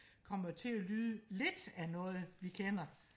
kommer til at lyde lidt af noget vi kender